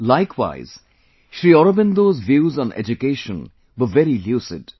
likewise, Shri Aurobindo's views on education were very lucid